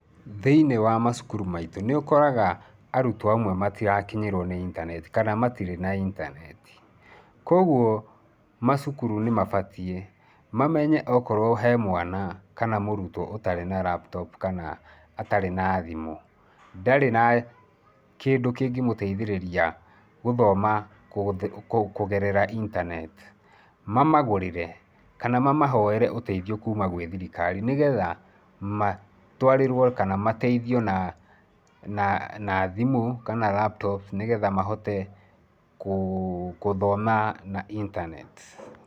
Thĩinĩ wa macukuru maitũ, nĩ ũkoraga arutwo amwe matirakinyĩrwo nĩ internet kana matirĩ na internet. Kwoguo macukuru nĩ mabatiĩ mamenye okorwo he mwana kana mũrutwo ũtarĩ na laptop kana atarĩ na thimũ, ndarĩ na kĩndũ kĩngĩmũteithĩrĩria gũthoma kũgerera internet, mamagũrĩre kana mamahoere ũteithio kuuma gwĩ thirikari nĩgetha matwarĩrwo kana mateithio na thimũ kana laptop nĩgetha mahote kũthoma na internet.